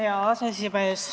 Hea aseesimees!